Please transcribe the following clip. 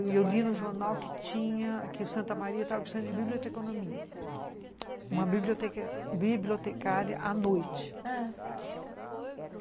E eu li no jornal que o Santa Maria estava precisando de biblioteconomia, uma bibliotecária à noite.